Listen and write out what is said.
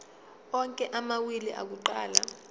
onke amawili akuqala